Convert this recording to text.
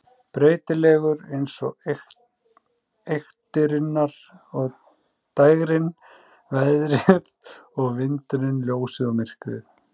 Breytilegur eins og eyktirnar og dægrin, veðrið og vindarnir, ljósið og myrkrið.